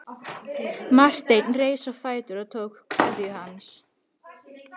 Marteinn reis á fætur og tók kveðju hans.